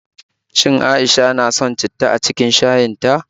Shin A'isha na son citta a cikin shayin ta?